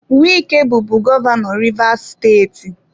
Wike bụbu gọvanọ Rivers steeti.